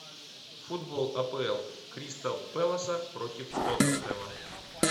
футбол апл кристал пэласа против тоттенхэма